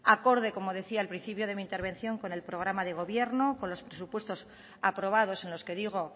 acorde como decía al principio de mi intervención con el programa de gobierno con los presupuestos aprobados en los que digo